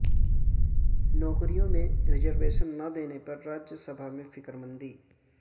نوکریوں میں ریزرویشن نہ دینے پر راجیہ سبھا میں فکرمندی